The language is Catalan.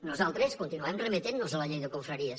nosaltres continuem remetent nos a la llei de confraries